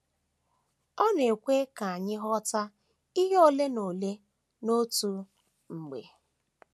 Ọ na - ekwe ka anyị ghọta ihe ole na ole n’otu mgbe.